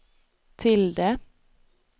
tilde